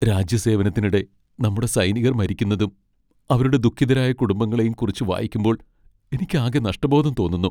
രാജ്യസേവനത്തിനിടെ നമ്മുടെ സൈനികർ മരിക്കുന്നതും അവരുടെ ദുഃഖിതരായ കുടുംബങ്ങളെയും കുറിച്ച് വായിക്കുമ്പോൾ എനിക്കാകെ നഷ്ടബോധം തോന്നുന്നു.